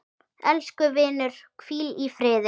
Elsku vinur, hvíl í friði.